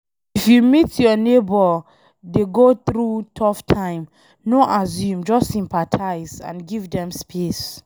If you meet your neigbour dey go through tough time, no assume, just sympathize and give dem space